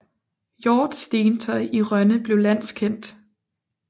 Hjorth stentøj i Rønne blev landskendt